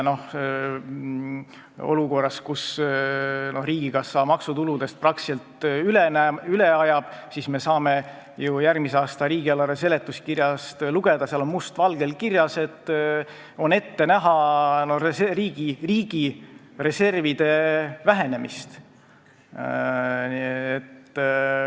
Olukorras, kus riigikassa maksutuludest praktiliselt üle ajab, on ette näha riigi reservide vähenemist.